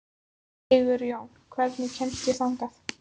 Sigurjón, hvernig kemst ég þangað?